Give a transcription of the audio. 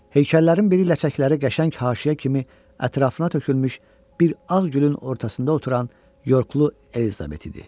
Heykəllərin biri ləçəkləri qəşəng haşiyə kimi ətrafına tökülmüş bir ağ gülün ortasında oturan yorklu Elizabet idi.